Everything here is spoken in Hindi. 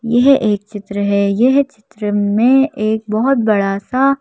यह एक चित्र है यह चित्र में एक बहुत बड़ा सा--